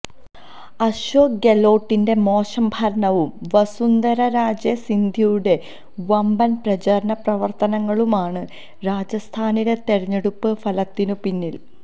അശോക് ഗെലോട്ടിന്റെ മോശം ഭരണവും വസുന്ധര രാജെ സിന്ധ്യയുടെ വമ്പന് പ്രചരണ പ്രവര്ത്തനങ്ങളുമാണ് രാജസ്ഥാനിലെ തെരഞ്ഞെടുപ്പ് ഫലത്തിനു പിന്നില്